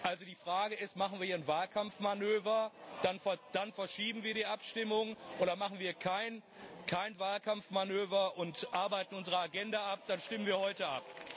Also die Frage ist Machen wir hier einen Wahlkampfmanöver, dann verschieben wir die Abstimmung, oder machen wir kein Wahlkampfmanöver und arbeiten unsere Agenda ab, dann stimmen wir heute ab.